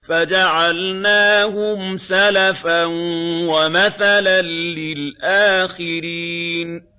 فَجَعَلْنَاهُمْ سَلَفًا وَمَثَلًا لِّلْآخِرِينَ